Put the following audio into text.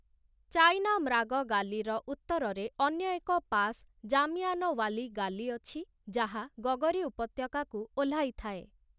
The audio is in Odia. ଚାଇନାମ୍ରାଗ ଗାଲିର ଉତ୍ତରରେ ଅନ୍ୟ ଏକ ପାସ୍ ଜାମିଆନୱାଲି ଗାଲି ଅଛି, ଯାହା ଗଗରୀ ଉପତ୍ୟକାକୁ ଓହ୍ଲାଇଥାଏ ।